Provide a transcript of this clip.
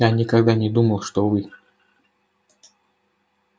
я никогда не думал что вы